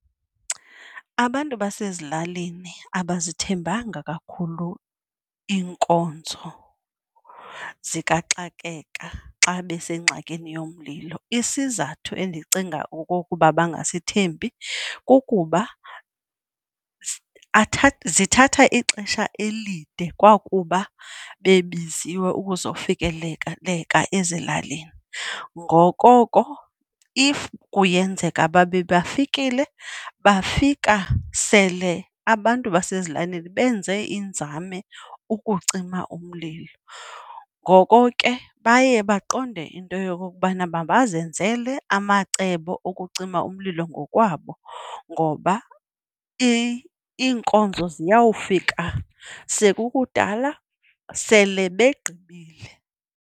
Abantu basezilalini abazithembanga kakhulu iinkonzo zikaxakeka xa besengxakini yomlilo, isizathu endicinga okokuba bangasithembi kukuba zithatha ixesha elide kwakuba bebiziwe ukuzofikeleka ezilalini. Ngokoko if kuyenzeka babe bafikile, bafika sele abantu basezilalini benze iinzame ukucima umlilo. Ngoko ke baye baqonde into yokokubana mabazenzele amacebo okucima umlilo ngokwabo ngoba iinkonzo ziyawufika sekukudala, sele begqibile.